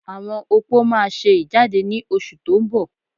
Àwọn opó máa ṣe ìjáde ní oṣù tó ń bọ̀